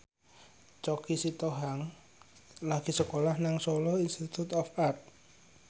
Choky Sitohang lagi sekolah nang Solo Institute of Art